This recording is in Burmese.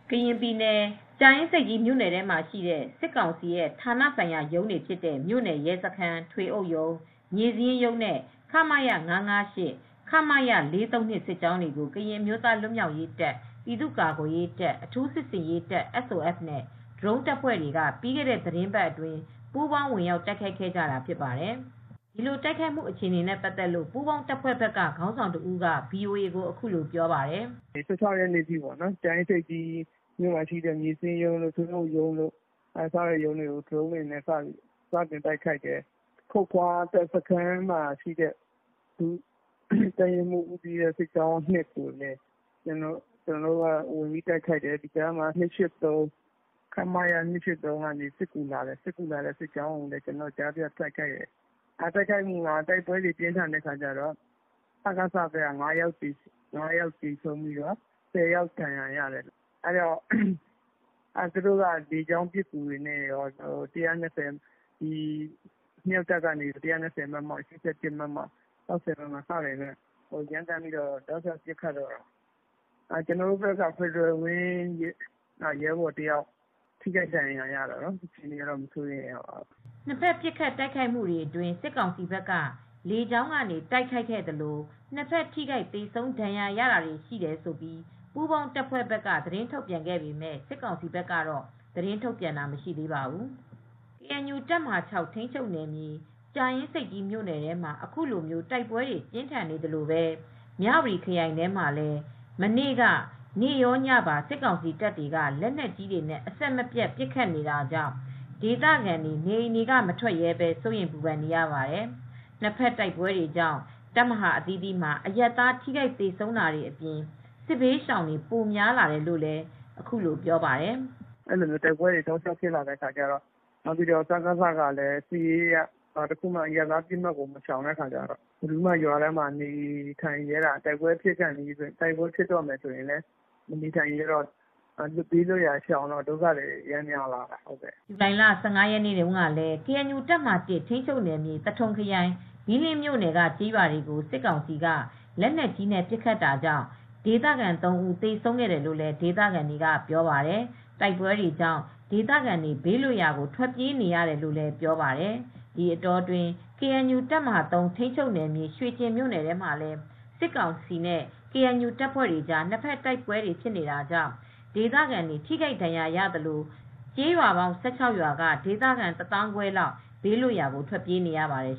ကရင်ပြည်နယ်၊ ကြာအင်းဆိပ်ကြီး မြို့နယ်ထဲမှာရှိတဲ့ စစ်ကောင်စီရဲ့ ဌာနဆိုင်ရာရုံးတွေ ဖြစ်တဲ့ မြို့နယ်ရဲစခန်း၊ ထွေအုပ်ရုံး၊ မြေစာရင်းရုံးနဲ့ ခမရ ၅၅၈ ၊ ခမရ ၄၃၂ စစ်ကြောင်းတွေကို ကရင်အမျိုးသား လွတ်မြောက်ရေးတပ်၊ ပြည်သူ့ကာကွယ်ရေးတပ်၊ အထူးစစ်ဆင်ရေးတပ် SOF နဲ့ ဒရုန်းတပ်ဖွဲ့တွေက ပြီးခဲ့တဲ့သီတင်းပတ်အတွင်း ပူးပေါင်း ဝင်ရောက် တိုက်ခိုက်ခဲ့ကြတာဖြစ်ပါတယ်။ ဒီ တိုက်ခိုက်မှု အခြေအနေတွေနဲ့ ပတ်သက်လို့ ပူးပေါင်းတပ်ဖွဲ့ဘက်က ခေါင်းဆောင်တဦးက ဗွီအိုအေကို အခုလို ပြောပါတယ်။ "၁၆ ရက်နေ့ အထိ ကြာအင်းဆိပ်ကြီး မြို့နယ်ထဲမှာ ရှိတဲ့ မြေစရင်းရုံးတို့၊ ထွေအုပ်ရုံးတို့ ကို ဒရုန်းတွေနဲ့ စပြီး တိုက်ခိုက်ပါတယ်။ ခုတ်ခွါစခန်းမှာရှိတဲ့ တပ်ရင်းမှုး ဦးစီးတဲ့ စစ်ကြောင်း (၂) ကိုလည်း ကျနော်တို့ ဝင်ရောက်တိုက်ခိုက်တယ်။ ခမရ ၂၈၃ က စစ်ကူလာတဲ့ အချိန် ကျနော်တို့က ကြားဖြတ်တိုက်ခိုက်တယ်။ တိုက်ခိုက်မူတွေ ပြင်းတော့ စကစ ဘက်က ၅ ယောက်သေတယ်။ ၁၀ ယောက်လောက် ဒဏ်ရတယ်။ သူတို့ဘက်ကလည်း လေကြောင်းပစ်ကူတွေနဲ့ရော အမြောက်တပ်က ၁၂၀ မမ၊ ၈၀ မမ၊ ၆၀ မမ တွေနဲ့ ပစ်ခတ်တယ်။ ကျနော်တို့ဘက်က Fedral Wing ဒရုန်းတပ်က တယောက်ဒဏ်ရာရတယ်။ သိပ်တော့ မစိုးရိမ်ရပါဘူး။" နှစ်ဘက် ပစ်ခတ်တိုက်ခိုက်မှုတွေ အတွင်း စစ်ကောင်စီဘက်က လေကြောင်းကနေ တိုက်ခိုက်ခဲ့သလို၊ နှစ်ဘက် ထိခိုက် သေဆုံး ဒဏ်ရာရတာတွေ ရှိတယ်လို့ ပူးပေါင်း တပ်ဖွဲ့ဘက်က သတင်းထုတ် ပြန်ပေမဲ့ စစ်ကောင်စီဘက်ကတော့ သတင်းထုတ်ပြန်တာ မရှိသေးပါဘူး။ ကေအန်ယူ တပ်မဟာ(၆) ထိမ်းချုပ်နယ်မြေ ကြာအင်းဆိပ်ကြီး မြို့နယ်ထဲမှာ ခုလို တိုက်ပွဲတွေ ပြင်းထန်နေသလိုပဲ မြဝတီခရိုင်ထဲမှာလည်း မနေ့က နေ့ရောညပါ စစ်ကောင်စီတပ်တွေက လက်နက်ကြီးတွေနဲ့ အဆက်မပြတ် ပစ်ခတ်နေတာကြောင့် ဒေသခံတွေ နေအိမ်တွေက မထွက်ရဲဘဲ စိုးရိမ်ပူပန်နေရပါတယ်။ နှစ်ဘက်တိုက်ပွဲတွေကြောင့် တပ်မဟာ အသီးသီးမှာ အရပ်သား ထိခိုက်သေဆုံးတာတွေ အပြင် စစ်ဘေးရှောင်တွေ ပိုများလာတယ်လို့ ဒေသခံတဦးက ပြောပါတယ်။ "တိုက်ပွဲတွေကလည်းဆက်တိုက်ဖြစ်လာတယ် စကစဘက်ကလည်း စစ်ရေးအရ ဘယ်တော့မှ အရပ်သားပစ်မှတ်တွေကိုမရှောင်တော့ တိုက်ပွဲဖြစ်လာပြီဆိုရင် အရပ်သားတွေကလည်းမနေရဲတော့ဘူး ဒီတော့ ဒုက္ခသည်တွေပိုများလာတယ်) ဇူလိုင်လ(၁၅)ရက်နေ့တုန်းကလဲ ကေအန်ယူ တပ်မဟာ(၁) ထိမ်းချုပ်နယ်မြေ သထုံခရိုင် ဘီးလင်းမြို့နယ် က ကျေးရွာတွေကို စစ်ကောင်စီက လေက်နက်ကြီးနဲ့ ပစ်ခတ်တာကြောင့် ဒေသခံ ၃ ဦး သေဆုံးခဲ့တယ်လို့ ဒေသခံတွေက ပြောပါတယ်။ တိုက်ပွဲတွေကြောင့် ဒေသခံတွေ ဘေးလွတ်ရာကို ထွက်ပြေးနေရတယ်လို့လည်း ပြောပါတယ်။ ဒီအတောအတွင်း ကေအန်ယူ တပ်မဟာ(၃) ထိန်းချုပ်နယ်မြေ၊ ရွှေကျင်မြို့နယ်ထဲမှာလည်း စစ်ကောင်စီနဲ့ ကေအန်ယူ တပ်ဖွဲ့တွေကြား နှစ်ဘက်တိုက်ပွဲတွေ ဖြစ်နေတာကြောင့် ဒေသခံတွေ ထိခိုက်ဒဏ်ရာရသလို ကျေးရွာပေါင်း ၁၆ ရွာက ဒေသခံ ၁၅, ၀၀၀ လောက် ဘေးလွတ်ရာကို ထွက်ပြေးနေရပါတယ်